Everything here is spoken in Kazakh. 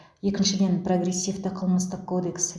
екіншіден прогрессивті қылмыстық кодекс